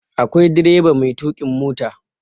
akwai direba mai tukukin mota